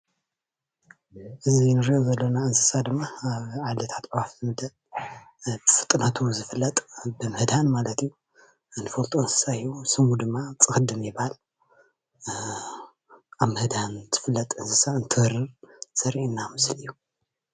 እዚ ንሪኦ ዘለና እንስሳ ድማ ኣብ ዓይነታት አዕዋፍ ዝምደብ ብምፍጥነቱ ዝፍለጥ ብምህዳም ማለት እዩ እንፈልጦ እንስሳ እዪ ስሙ ድማ ትቅድም ይበሃል። ኣብ ምህዳም ዝፍለጥ እንስሳ እንትበርር ዘርኢ ምስሊ እዩ።